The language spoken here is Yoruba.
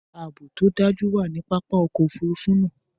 Aabo to daju wa ni papa ọkọ ofurufu naa.